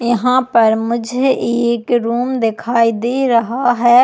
यहाँ पर मुझे एक रूम दिखाई दे रहा है।